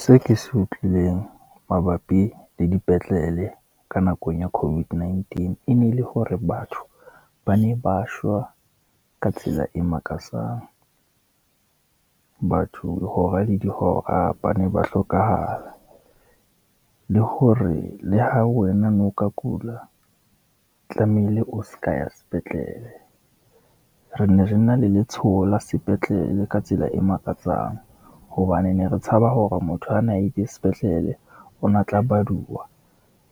Seo ke se utlwileng mabapi le dipetlele ka nakong ya COVID-19, e ne le hore batho ba ne ba shwa ka tsela e makatsang, batho hora le dihora ba ne ba hlokahala, le hore le ha wena no ka kula, tlamehile o se ka wa ya sepetlele. Re ne re na le letshoho la sepetlele ka tsela e makatsang, hobane ne re tshaba hore motho a na ile sepetlele, o na tla baduwa